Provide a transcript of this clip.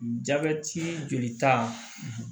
Jabɛti jolita